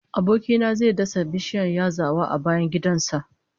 Aboki na zai dasa bishiyar yazawa a bayan gidan sa